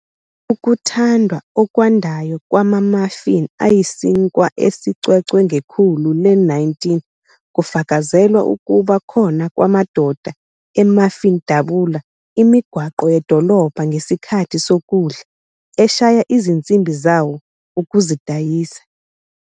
Ukuthandwa okwandayo kwama-muffin ayisinkwa esicwecwe ngekhulu le-19, kufakazelwa ukuba khona kwamadoda "e-muffin dabula imigwaqo yedolobha ngesikhathi sokudla, eshaya izinsimbi zawo" ukuzidayisa.